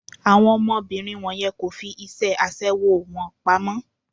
Àwọn ọmọbìnrin wọ̀nyẹn kò fi iṣẹ́ aṣẹwó wọn pamọ́.